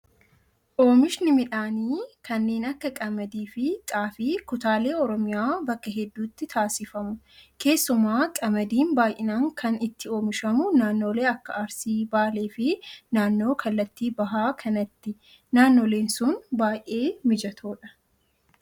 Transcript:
Oomishni midhaanii kanneen akka qamdii fi xaafii kutaalee oromiyaa bakka hedduutti taasifamu. Keessumaa qamadiin baay'inaan kan itti oomishamu naannoolee Akka Arsii, Baalee fi naannoo kallattii bahaa kanatti. Naannooleen sun baay'ee mijatoodha.